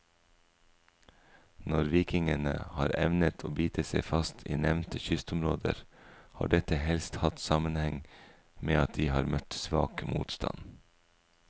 Når vikingene har evnet å bite seg fast i nevnte kystområder, har dette helst hatt sammenheng med at de har møtt svak motstand.